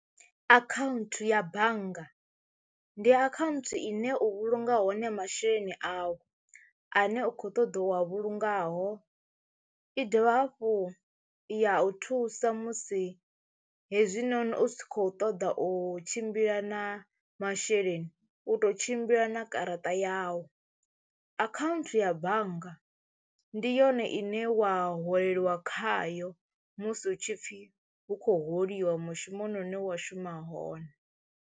Akhaunthu ya bannga ndi akhaunthu ine u vhulunga hone masheleni awu ane u kho ṱoḓa u wa vhulungaho i dovha hafhu ya u thusa musi hezwinoni u si kho ṱoḓa u tshimbila na masheleni u to tshimbila na garaṱa yau, account ya bannga ndi yone ine wa holeliwa khayo musi hutshipfi hu khou holiwa mushumoni une wa shuma hone.